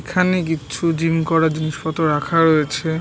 এখানেকিছু gym করার জিনিসপত্র রাখা রয়েছে ।